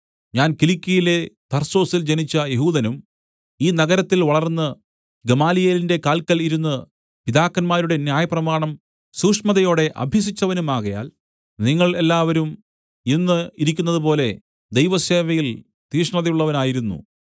ഞാൻ കിലിക്യയിലെ തർസോസിൽ ജനിച്ച യെഹൂദനും ഈ നഗരത്തിൽ വളർന്ന് ഗമാലിയേലിന്റെ കാല്ക്കൽ ഇരുന്ന് പിതാക്കന്മാരുടെ ന്യായപ്രമാണം സൂക്ഷ്മതയോടെ അഭ്യസിച്ചവനുമാകയാൽ നിങ്ങൾ എല്ലാവരും ഇന്ന് ഇരിക്കുന്നതുപോലെ ദൈവസേവയിൽ തീഷ്ണതയുള്ളവനായിരുന്നു